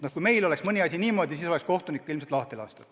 No kui meil oleks mõni asi niimoodi veninud, siis oleks kohtunik ilmselt lahti lastud.